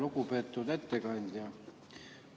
Lugupeetud ettekandja!